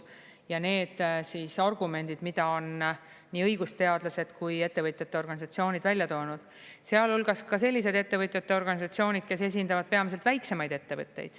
Ja need argumendid, mida on nii õigusteadlased kui ettevõtjate organisatsioonid välja toonud, sealhulgas ka sellised ettevõtjate organisatsioonid, kes esindavad peamiselt väiksemaid ettevõtteid.